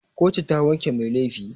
Kotu ta wanke mai laifi.